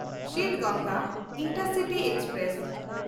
Siddhaganga intercity express